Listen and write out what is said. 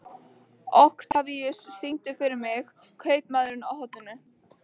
Oktavíus, syngdu fyrir mig „Kaupmaðurinn á horninu“.